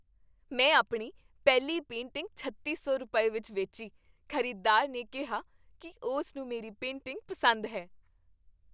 ਮੈਂ ਆਪਣੀ ਪਹਿਲੀ ਪੇਂਟਿੰਗ ਛੱਤੀ ਸੌ ਰੁਪਏ, ਵਿੱਚ ਵੇਚੀ ਖ਼ਰੀਦਦਾਰ ਨੇ ਕਿਹਾ ਕੀ ਉਸ ਨੂੰ ਮੇਰੀ ਪੇਂਟਿੰਗ ਪਸੰਦ ਹੈ!